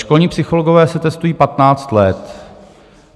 Školní psychologové se testují 15 let.